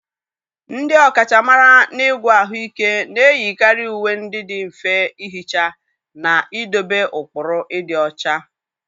ndị ọkachamara n'ịgwọ ahụike na-eyikarị uwe ndị dị mfe ihicha na idobe ụkpụrụ ịdị ọcha.